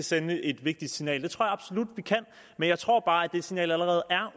sende et vigtigt signal det tror jeg absolut vi kan men jeg tror bare at det signal allerede er